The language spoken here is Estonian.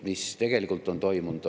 Mis tegelikult on toimunud?